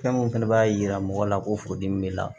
Fɛn min fɛnɛ b'a yira mɔgɔ la ko furudimi b'i la